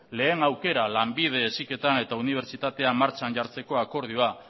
lehen aukera lanbide heziketa eta unibertsitatea martxan jartzeko akordioa